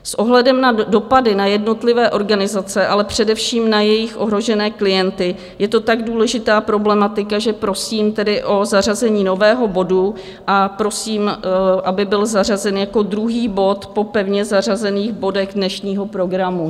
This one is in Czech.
S ohledem na dopady na jednotlivé organizace, ale především na jejich ohrožené klienty je to tak důležitá problematika, že prosím tedy o zařazení nového bodu a prosím, aby byl zařazen jako druhý bod po pevně zařazených bodech dnešního programu.